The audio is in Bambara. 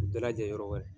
U bɛɛ lajɛlen yɔrɔ wɛrɛ